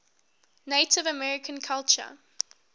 native american culture